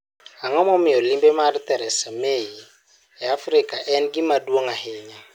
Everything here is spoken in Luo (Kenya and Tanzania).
Ang'o momiyo limbe mar Theresa May e Afrika en gima duong ' ahinya?